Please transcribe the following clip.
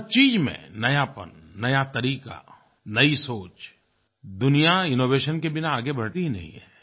हर चीज़ में नयापन नया तरीका नयी सोच दुनिया इनोवेशन के बिना आगे बढ़ती नहीं है